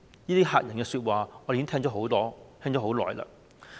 這些嚇人的說話，我們已經聽了很多、聽了很久。